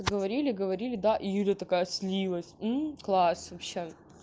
говорили говорили да и ира такая снилось класс вообще